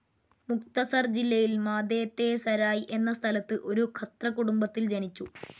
മുഖ്തസർ ജില്ലയിൽ മാതേ തേ സരായ് എന്ന സ്ഥലത്ത് ഒരു ഖത്രകുടുംബത്തിൽ ജനിച്ചു.